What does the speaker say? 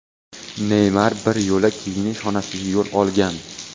Neymar bir yo‘la kiyinish xonasiga yo‘l olgan.